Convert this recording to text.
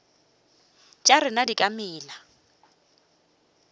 tša rena di ka mela